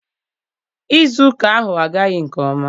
Nzukọ ahụ agaghị nke ọma.